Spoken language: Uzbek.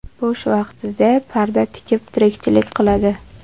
Bo‘sh vaqtida parda tikib tirikchilik qiladi.